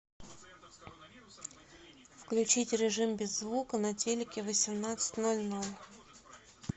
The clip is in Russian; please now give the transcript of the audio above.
включить режим без звука на телике в восемнадцать ноль ноль